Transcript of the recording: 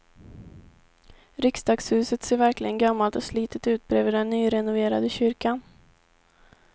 Riksdagshuset ser verkligen gammalt och slitet ut bredvid den nyrenoverade kyrkan.